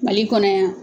Mali kɔnɔ yan